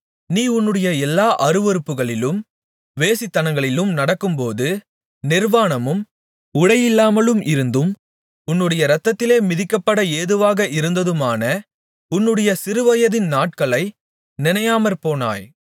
நீ உன்னுடைய எல்லா அருவருப்புகளிலும் வேசித்தனங்களிலும் நடக்கும்போது நிர்வாணமும் உடையில்லாமலும் இருந்ததும் உன்னுடைய இரத்தத்திலே மிதிக்கப்பட ஏதுவாக இருந்ததுமான உன்னுடைய சிறுவயதின் நாட்களை நினையாமற்போனாய்